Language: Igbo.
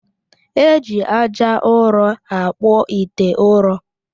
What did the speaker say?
E ji aja ụrọ akpụ ite ụrọ